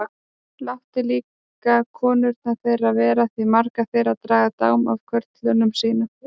Láttu líka konurnar þeirra vera því margar þeirra draga dám af körlum sínum.